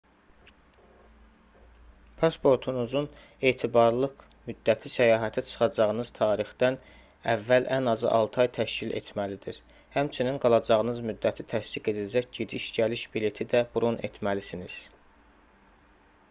pasportunuzun etibarlılıq müddəti səyahətə çıxacağınız tarixdən əvvəl ən azı 6 ay təşkil etməlidir həmçinin qalacağınız müddəti təsdiq edəcək gediş-gəliş bileti də bron etməlisiniz